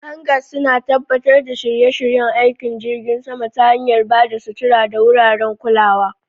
Hangars suna tabbatar da shirye-shiryen aikin jirgin sama ta hanyar ba da sutura da wuraren kulawa.